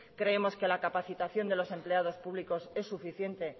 creemos que la capacitación de los empleados públicos es suficiente